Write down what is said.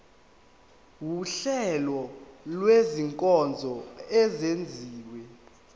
wuhlengo lwezinkonzo ezenziwa